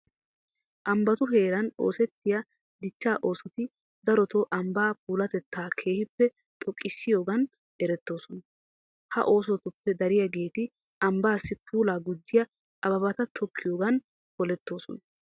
Ambbatu heeran oosettiya dichchaa oosoti darotoo ambbaa puulatettaa keehippe xoqqissiyigan erettoosona. Ha oosotuope dariyageeti ambbaassi puulaa gujjiya ababata tokkiyogan polettoosona.